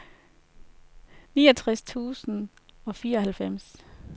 niogtres tusind og fireoghalvfems